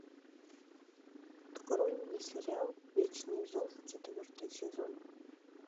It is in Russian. открой мне сериал вечный зов четвертый сезон